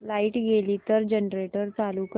light गेली तर generator चालू कर